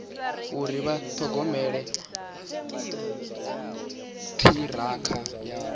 uri vha ṱhogomela ṱhirakha yavho